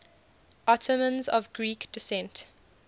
ottomans of greek descent